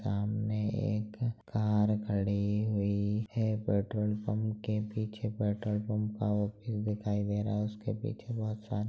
सामने एक कार खड़ी हुई है पेट्रोल पंप के पीछे पेट्रोल पंप का व्यू दिखाई दे रहा है उसके पीछे बहोत सा --